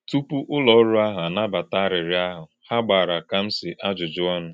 Tùpù̄ ùlọ̀̄ ọ̀rụ̀ àhụ̄ ànàbàtà̄ àrị́ọ̄rò̄ àhụ̄, hà̄ gbàrà̄ Kāmsì̄ àjụ́jụ́ ọ̀nụ̄.